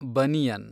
banian